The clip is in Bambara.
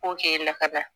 K'o kɛ lakada